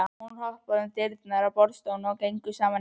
Hún opnaði dyrnar að borðstofunni og þau gengu saman inn.